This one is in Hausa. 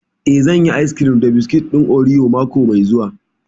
Eh, zan yi ayis kirim da biskit ɗin oriyo mako mai zuwa